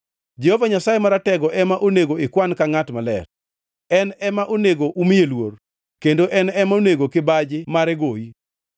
Jehova Nyasaye Maratego ema onego ikwan ka ngʼat maler, en ema onego umiye luor, kendo en ema onego kibaji mare goyi,